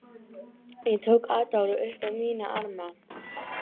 Ég tók Adolf upp á mína arma.